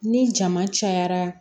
Ni jama cayara